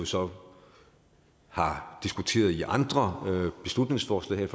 så har diskuteret i andre beslutningsforslag her